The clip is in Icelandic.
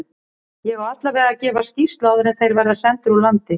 Ég á allavega að gefa skýrslu áður en þeir verða sendir úr landi.